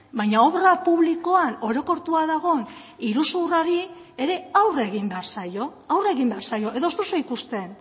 baina obra publikoan orokortua dagoen iruzur horri ere aurre egin behar zaio edo ez duzue ikusten